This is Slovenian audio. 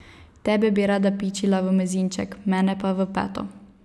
Tebe bi rada pičila v mezinček, mene pa v peto.